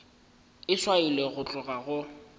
e swailwe go tloga go